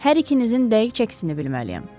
Hər ikinizin dəqiq çəkisini bilməliyəm.